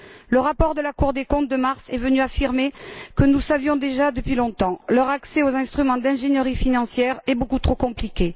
Le rapport de la Cour des comptes de mars est venu affirmer ce que nous savions déjà depuis longtemps leur accès aux instruments d'ingénierie financière est beaucoup trop compliqué.